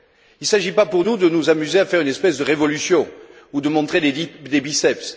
Il ne s'agit pas pour nous de nous amuser à faire une espèce de révolution ou de montrer des biceps.